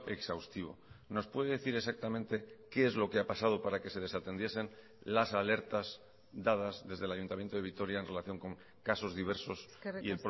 exhaustivo nos puede decir exactamente qué es lo que ha pasado para que se desatendiesen las alertas dadas desde el ayuntamiento de vitoria en relación con casos diversos y